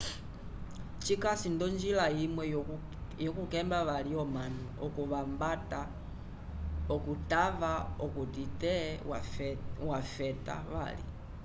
cikasi nd'onjila imwe yokukemba vali omanu okuvambata okutava okuti te vafeta vali